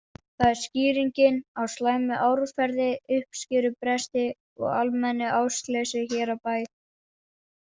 Það er skýringin á slæmu árferði, uppskerubresti og almennu ástleysi hér á bæ.